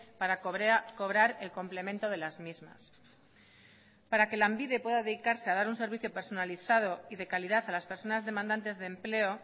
para cobrar el complemento de las mismas para que lanbide pueda dedicarse a dar un servicio personalizado y de calidad a las personas demandantes de empleo